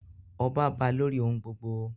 Ọba ba lórí ohun gbogbo.